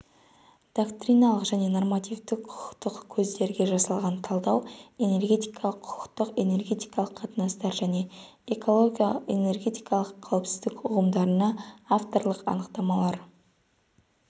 доктриналық және нормативтік құқықтық көздерге жасалған талдау энергетикалық құқық энергетикалық қатынастар және эколого-энергетикалық қауіпсіздік ұғымдарына авторлық анықтамалар